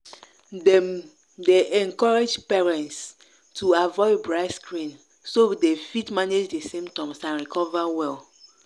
dem dey encourage parents to avoid bright screen so dem fit manage di symptoms and recover well.